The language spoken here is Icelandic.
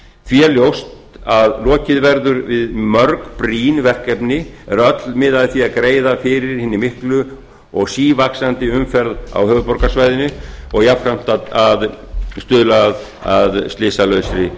því er ljóst að lokið verður við mörg brýn verkefni er öll miða að því að greiða fyrir hinni miklu og sívaxandi umferð á höfuðborgarsvæðinu og jafnframt að stuðla að slysalausri